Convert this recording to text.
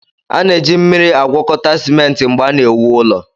A na-eji mmiri agwọkọta simenti mgbe a na-ewu ụlọ